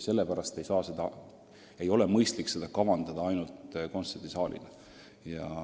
Sellepärast ei ole mõistlik hoonest kavandada ainult kontserdisaal.